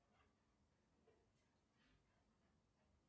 появляться на телефоне